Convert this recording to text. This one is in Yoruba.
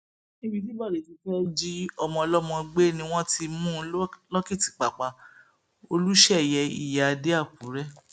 níbi tí bóde ti fẹẹ jí ọmọ ọlọmọ gbé ni wọn ti mú un lọkìtìpápá olùṣeyẹ ìyí adé àkùrẹ